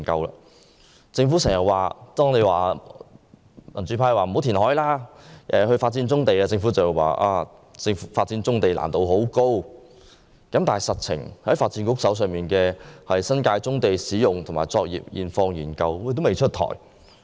每當民主派建議政府不應填海而應發展棕地時，政府便說發展棕地的難度很高，但事實上，發展局的新界棕地使用及作業現況研究報告仍未出台。